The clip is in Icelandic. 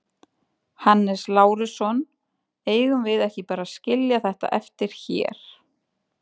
Hannes Lárusson: Eigum við ekki bara að skilja þetta eftir hér?